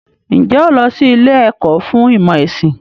Ǹjẹ́ o lọ sí ilé ẹ̀kọ́ fún ìmọ̀ ẹ̀sìn?